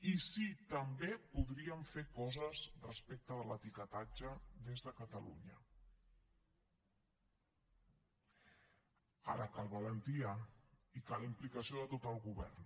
i sí també podríem fer coses respecte de l’etiquetatge des de catalunya ara cal valentia i cal implicació de tot el govern